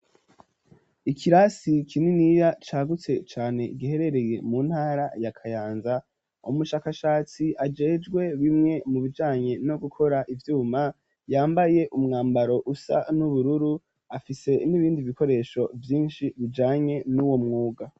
Ikirasi kininira cagutse cane giherereye mu ntara ya kayanza, umushakashatsi ajejwe bimwe mu bijanye no gukora ivyuma yambaye umwambaro usa n'ubururu afise n'ibindi bikoresho vyinshi bijanye n'uwo mwuga.